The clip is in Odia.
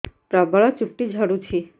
ପ୍ରବଳ ଚୁଟି ଝଡୁଛି